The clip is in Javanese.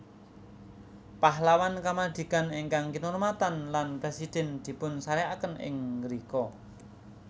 Pahlawan Kamardikaan ingkang kinurmatan lan presiden dipunsareaken ing ngrika